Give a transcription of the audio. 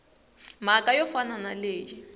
mhaka yo fana na leyi